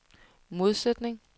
modsætning